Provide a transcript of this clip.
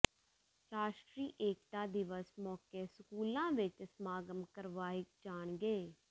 ਰਾਸ਼ਟਰੀ ਏਕਤਾ ਦਿਵਸ ਮੌਕੇ ਸਕੂਲਾਂ ਵਿੱਚ ਸਮਾਗਮ ਕਰਵਾਏ ਜਾਣਗੇ